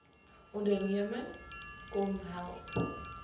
onderneming kmmo help